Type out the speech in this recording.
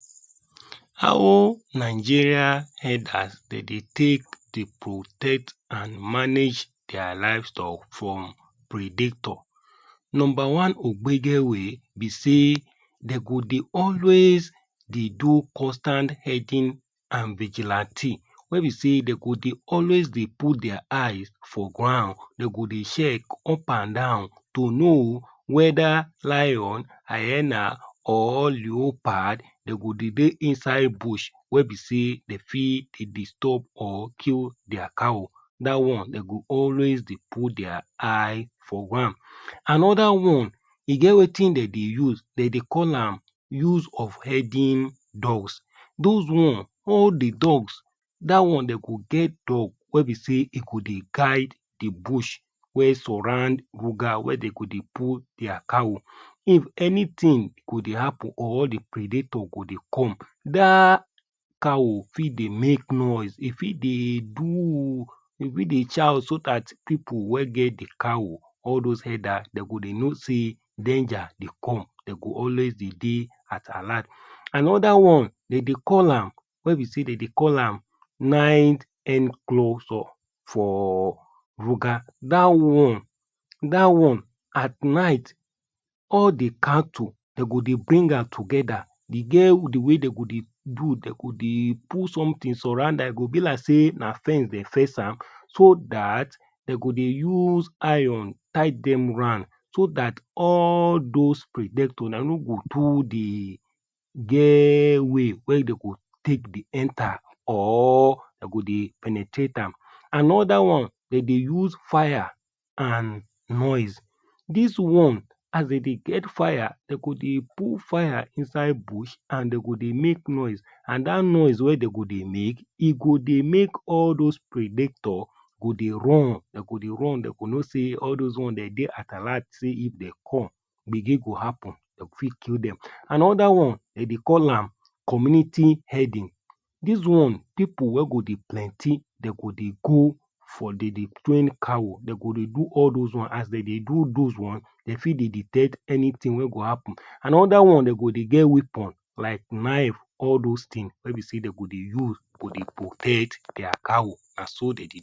How Nigeria herders de dey take dey protect and manage dia livestock from predator Number one ogbege way be sey dey go dey always dey do constant herding and vigilante wey be say dey go dey always dey put dia eyes for ground, dem go dey chek up and down to know weda lion, hyena or leopard dey go dey dey inside bush wey be sey dey fit dey distob or kill dia cow. Da one, dey go always dey put dia eyes for one. Anoda one e get wetin dey dey use dey dey call am use of herding dogs, dos one all the dogs dat one dey go get dog wey be sey e go dey guide the bush wey surround ruga wey de go dey put dia cow. If anytin go dey happen or the predator go dey come, da cow fit dey make noise e fit dey boo e fit dey shout so dat pipu wey get the cow, all dos elder dey go dey know sey danger dey come dey go always dey dey at alat. Anoda one, dey dey call am wey be sey dey dey call am night enclosure for ruga, da one da one at night all the cattle de go dey bring am togeda. E get the way dey go dey do, dey go dey put somtin surround am e go be like sey na fence dem fence am so dat dey go de use iron tie dem round so that all dos predator na no go too dey get way wey dey go take dey enter or dey go dey penetrate am Anoda one dem go use fire and noise, dis one as dey dey get fire, de go dey put fire inside bush and de go dey make noise and dat noise wey dem go dey make, e go dey make all dos predator go dey run, dey go dey run, dey go know sey all dos one dey dey at alat say if den come gbege go happen dey go fit kill dem Anoda one dem dey call am community herding, dis one pipu wey go dey plenty dey go dey for dey dey train cow, dey go dey do all dos ones, as dey dey do dos ones dem fit dey detect anytin wey go happen. Anoda one, dey go dey get weapon like knife all dos tins wey be say dey go dey use dey protect dia cow, na so dey